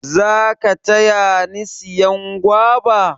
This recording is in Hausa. za ka taya ni siyan guava?